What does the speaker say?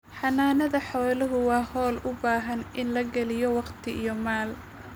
Xanaanada xoolaha waa hawl u baahan in la geliyo waqti iyo maal.